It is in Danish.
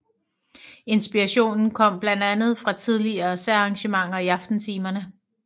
Inspirationen kom blandt andet fra tidligere særarrangementer i aftentimerne